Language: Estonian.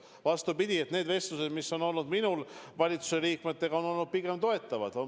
Vastupidi, need vestlused, mis mul on valitsuse liikmetega olnud, on olnud pigem toetavad.